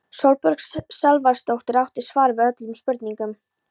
Sólborg Salvarsdóttir átti svar við öllum spurningum.